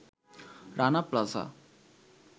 Rana plaza